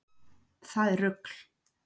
Það er rugl.